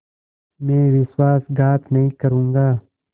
मैं विश्वासघात नहीं करूँगा